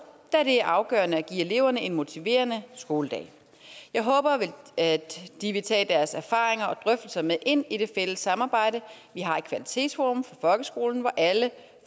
da det er afgørende at give eleverne en motiverende skoledag jeg håber at de vil tage deres erfaringer og drøftelser med ind i det fælles samarbejde vi har i kvalitetsforum for folkeskolen hvor alle